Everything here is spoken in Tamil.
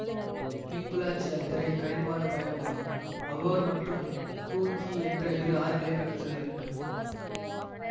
ஹிங்குளாஜ் யாத்திரை கடினமான பயணமாகும் அகோர் மற்றும் கூங்கி என்ற இரு ஆறுகளைக் கடந்து செல்ல வேண்டும்